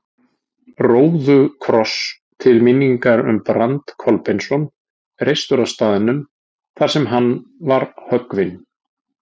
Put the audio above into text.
Róðukross til minningar um Brand Kolbeinsson, reistur á staðnum þar sem hann var höggvinn.